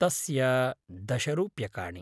तस्य दश रूप्यकाणि।